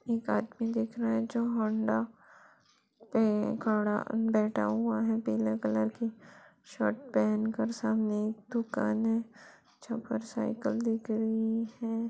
एक आदमी दिख रहा हैं जो हौंडा पे खड़ा बैठा हुआ हैं पीले कलर की शर्ट पहन कर सामने दुकान है चोकर साइकिल दिख रही हैं।